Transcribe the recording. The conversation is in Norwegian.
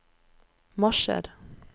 marsjer